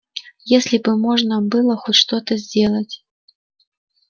если бы можно было хоть что-то сделать